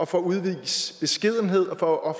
for at udvise beskedenhed og for at